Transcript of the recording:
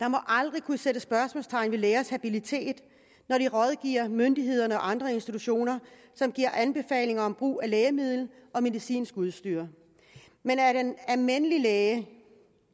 der må aldrig kunne sættes spørgsmålstegn ved lægers habilitet når de rådgiver myndigheder og andre institutioner og giver anbefaling om brug af lægemidler og medicinsk udstyr men at en almindelig læge